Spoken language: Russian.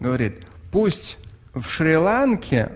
говорит пусть в шри-ланке